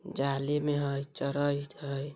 जाली में हई चरइयत हई ।